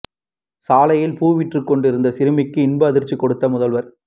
சாலையில் பூ விற்று கொண்டிருந்த சிறுமிக்கு இன்ப அதிர்ச்சி கொடுத்த முதல்வர்